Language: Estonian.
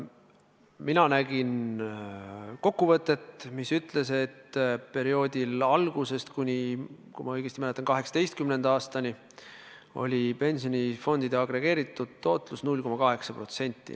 Mina nägin kokkuvõtet, mis ütles, et perioodil algusest kuni, kui ma õigesti mäletan, 2018. aastani oli pensionifondide agregeeritud tootlus 0,8%.